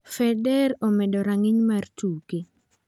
Federer omedo rang'iny mar tuke